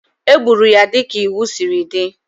E gburu ya dịka iwu siri dị